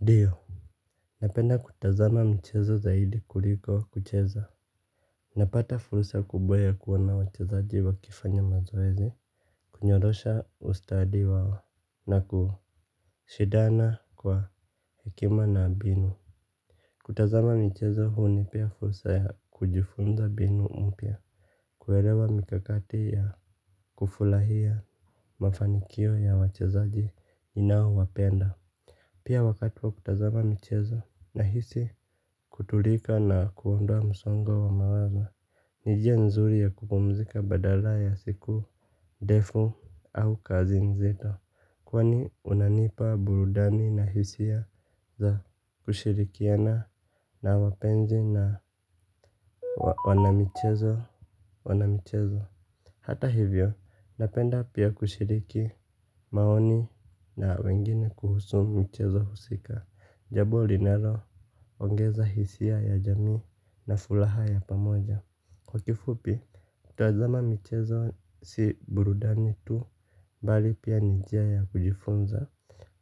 Ndio napenda kutazama michezo zaidi kuliko kucheza. Napata fursa kubwa ya kuona wachezaji wakifanya mazoezi. Kunyorosha ustadi wao na kushindana kwa hekima na mbinu. Kutazama michezo hunipea fursa ya kujifunza mbinu mpya. Kuelewa mikakati ya kufurahia mafanikio ya wachezaji ninaowapenda. Pia wakati wa kutazama michezo nahisi kutulika na kuondoa msongo wa mawazo. Ni njia nzuri ya kupumzika badala ya siku ndefu au kazi nzito. Kwani unanipa burudani na hisia za kushirikiana na wapenzi na wanamichezo. Hata hivyo, napenda pia kushiriki maoni na wengine kuhusu mchezo husika. Jambo linaloongeza hisia ya jamii na furaha ya pamoja. Kwa kifupi, kutazama michezo si burudani tu bali pia ni njia ya kujifunza,